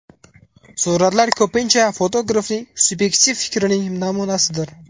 Suratlar ko‘pincha fotografning subyektiv fikrining namunasidir.